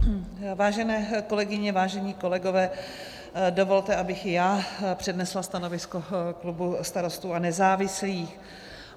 Vážené kolegyně, vážení kolegové, dovolte, abych i já přednesla stanovisko klubu Starostů a nezávislých.